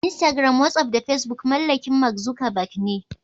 Instagram, Wasaf da Fesbuk mallakin "Mark Zuckerberg" ne.